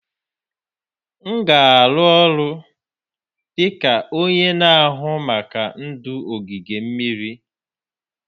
M na-arụ ọrụ dị ka onye na-ahụ maka ndụ n'ogige mmiri